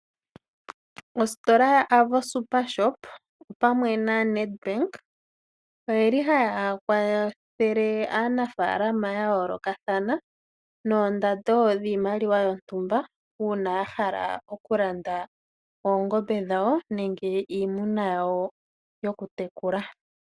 Ositola yo-Avo Supershop opamwe na-Nedbank, ota ya kwathele aanafalama yayoolokathana noondando dhiimaliwa yontumba uuna yahala okulanda oongombe dhawo nenge iimuna ya wo yokutekula.